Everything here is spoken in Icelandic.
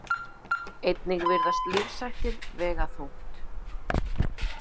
Einnig virðast lífshættir vega þungt.